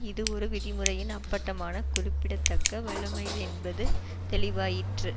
இது ஒரு விதிமுறையின் அப்பட்டமான குறிப்பிடத்தக்க வழமை என்பது தெளிவாயிற்று